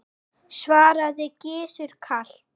svaraði Gizur kalt.